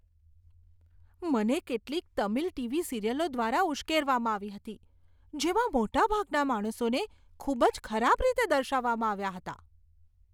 મને કેટલીક તમિલ ટીવી સિરિયલો દ્વારા ઉશ્કેરવામાં આવી હતી, જેમાં મોટાભાગના માણસોને ખૂબ જ ખરાબ રીતે દર્શાવવામાં આવ્યા હતા.